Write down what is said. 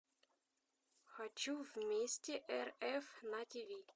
хочу вместе рф на тиви